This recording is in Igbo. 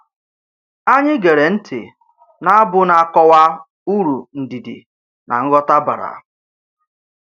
Anyị gere ntị na abu na-akọwa uru ndidi na nghọta bara